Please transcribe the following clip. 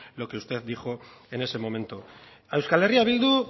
lo que usted dijo en ese momento a euskal herria bildu